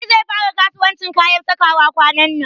Aliyu zai fara kasuwancin kayan sakawa kwanan nan.